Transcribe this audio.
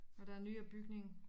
Og der er nye bygning